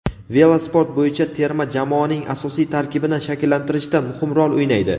velosport bo‘yicha terma jamoaning asosiy tarkibini shakllantirishda muhim rol o‘ynaydi.